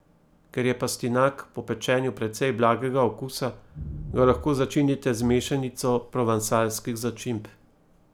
Ker je pastinak po pečenju precej blagega okusa, ga lahko začinite z mešanico provansalskih začimb.